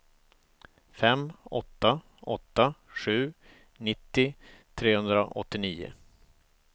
fem åtta åtta sju nittio trehundraåttionio